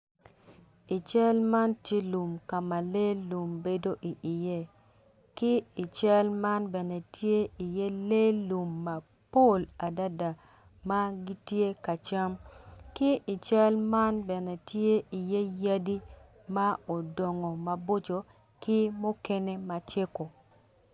I cal man tye lum ka ma lee lum bedo iye ki i cal man tye lee lum mapol adada ma gitye ka cam ki i cal man bene tye iye yadi ma odongo maboco ki mukene macego.